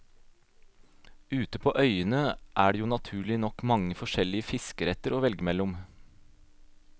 Ute på øyene er det jo naturlig nok mange forskjellige fiskeretter å velge mellom.